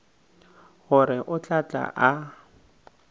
gore o tla tla a